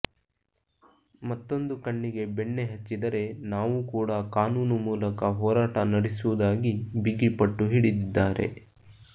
ಮತ್ತೊಂದು ಕಣ್ಣಿಗೆ ಬೆಣ್ಣೆ ಹಚ್ಚಿದರೆ ನಾವೂ ಕೂಡ ಕಾನೂನು ಮೂಲಕ ಹೋರಾಟ ನಡೆಸುವುದಾಗಿ ಬಿಗಿ ಪಟ್ಟು ಹಿಡಿದಿದ್ದಾರೆ